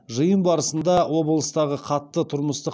жиын барысында облыстағы қатты тұрмыстық